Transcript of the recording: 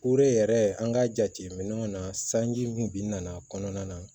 yɛrɛ an ka jateminɛw na sanji kun bin na a kɔnɔna na